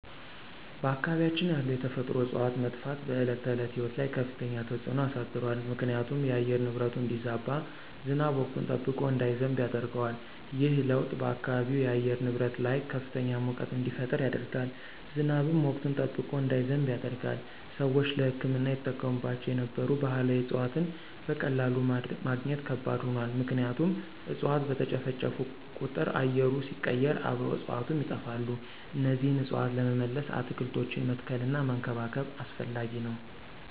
በአካባቢያችን ያሉ የተፈጥሮ እፅዋት መጥፋት በዕለት ተዕለት ሕይወት ላይ ከፍተኛ ተጽዕኖ አሳድሯል ምክንያቱም የአየር ንብረቱ እንዲዛባ፣ ዝናብ ወቅቱን ጠብቆ እንዳይዘንብ ያደርገዋል። ይህ ለውጥ በአካባቢው የአየር ንብረት ላይ ከፍተኛ ሙቀት እንዲፈጠር ያደርጋል፣ ዝናብም ወቅቱን ጠብቆ እንዳይዘንብ ያደርጋል። ሰዎች ለሕክምና ይጠቀሙባቸው የነበሩ ባህላዊ እፅዋትን በቀላሉ ማግኘት ከባድ ሆኗል ምክንያቱም እፅዋት በተጨፈጨፉ ቁጥር አየሩ ሲቀየር አብረው እፅዋቱም ይጠፋሉ እነዚህን እፅዋት ለመመለስ አትክልቶችን መትከልና መንከባከብ አስፈላጊ ነው።